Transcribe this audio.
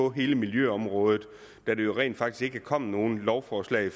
på hele miljøområdet da der jo rent faktisk ikke er kommet nogen lovforslag